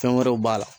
Fɛn wɛrɛw b'a la